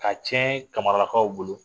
Ka cɛn kamaralakaw bolo